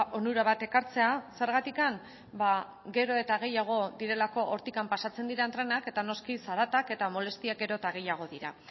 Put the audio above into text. onura bat ekartzea zergatik ba gero eta gehiago direlako hortik pasatzen diren trenak eta noski zaratak eta molestiak gero eta gehiago dira